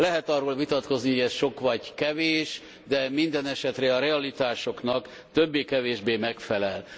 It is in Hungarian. Lehet arról vitatkozni, hogy ez sok vagy kevés, de mindenesetre a realitásoknak többé kevésbé megfelel.